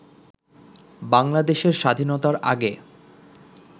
বাংলাদেশের স্বাধীনতার আগে